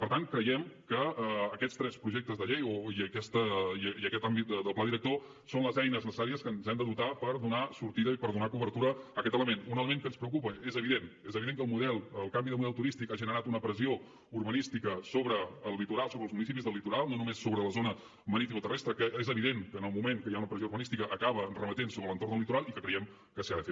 per tant creiem que aquests tres projectes de llei i aquest àmbit del pla director són les eines necessàries que ens hem de dotar per donar sortida i per donar cobertura a aquest element un element que ens preocupa és evident és evident que el canvi de model turístic ha generat una pressió urbanística sobre el litoral sobre els municipis del litoral no només sobre la zona maritimoterrestre que és evident que en el moment que hi ha una pressió urbanística acaba remetent sobre l’entorn del litoral i que creiem que s’hi ha de fer